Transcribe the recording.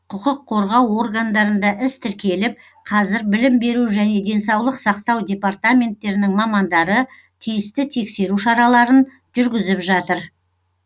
құқық қорғау органдарында іс тіркеліп қазір білім беру және денсаулық сақтау департаменттерінің мамандары тиісті тексеру шараларын жүргізіп жатыр